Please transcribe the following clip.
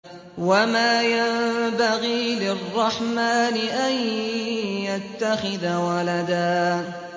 وَمَا يَنبَغِي لِلرَّحْمَٰنِ أَن يَتَّخِذَ وَلَدًا